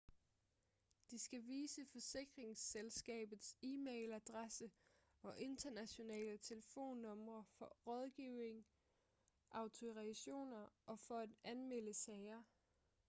de skal vise forsikringsselskabets e-mailadresse og internationale telefonnumre for rådgivning/autorisationer og for at anmelde sager